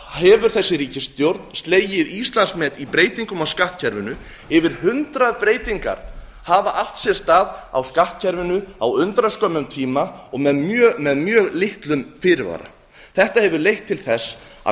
hefur þessi ríkisstjórn slegið íslandsmet í breytingum á skattkerfinu yfir hundrað breytingar hafa átt sér stað á skattkerfinu á undraskömmum tíma og með mjög litlum fyrirvara þetta hefur leitt til þess að